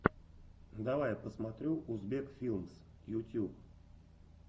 давай я посмотрю узбек филмс ютьюб